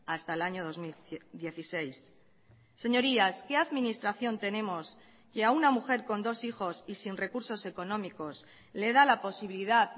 hasta el año dos mil dieciséis señorías qué administración tenemos que a una mujer con dos hijos y sin recursos económicos le da la posibilidad